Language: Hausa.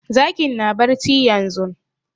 Zakin na barci yanzun